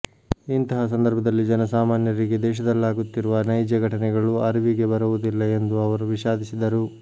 ಇಂತಹ ಸಂದರ್ಭದಲ್ಲಿ ಜನ ಸಾಮಾನ್ಯರಿಗೆ ದೇಶದಲ್ಲಾಗುತ್ತಿರುವ ನೈಜ ಘಟನೆಗಳು ಅರಿವಿಗೆ ಬರುವುದಿಲ್ಲ ಎಂದು ಅವರು ವಿಷಾದಿಸಿದರು